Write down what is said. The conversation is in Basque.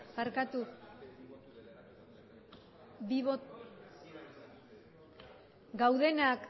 barkatu gaudenak